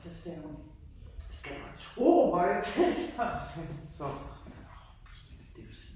Så sagde hun skal du have to højtalere! Så sagde jeg til hende stop mor, det pinligt det du siger